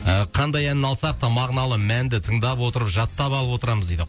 ііі қандай әнін алсақ та мағыналы мәнді тыңдап отырып жаттап алып отырамыз дейді